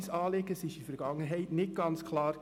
Es war in der Vergangenheit nicht ganz klar.